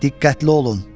Diqqətli olun.